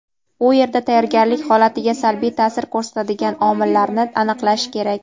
u yerda tayyorgarlik holatiga salbiy ta’sir ko‘rsatadigan omillarni aniqlanishi kerak.